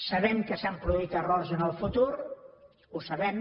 sabem que s’han produït errors en el futur ho sabem